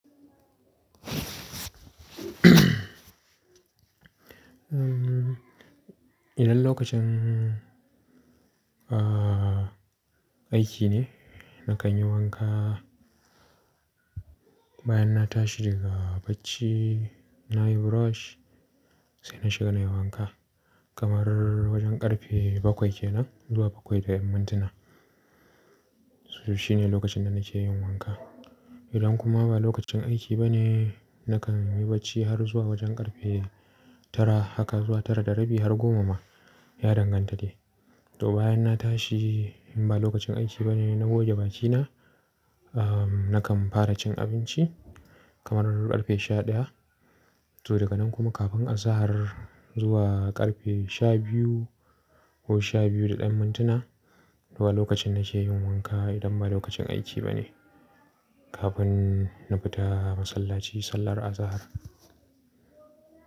Um, idan lokacin, ahh, aiki ne, na kan yi wanka bayan na tashi daga barci, na yi brush sai na shiga na yi wanka. Kamar wajen karfe bakwai kenan zuwa bakwai da yan mintuna. Su, shi ne lokacin da na ke yin wanka. Idan kuma ba lokacin aiki ba ne, na kan yi barci har zuwa wajen karfe tara haka zuwa tara da rabi har goma ma, ya danganta dei. Toh bayan na tashi in ba lokacin aiki ba ne, na goge bakina, um, na kan fara cin abinci kamar karfe sha ɗaya. Toh daga nan kuma kafin azahar zuwa karfe sha biyu ko sha biyu da yan mintuna, toh ga lokacin na ke yin wanka idan ba lokacin aiki ba ne. Kafin na fita masallaci sallar azahar.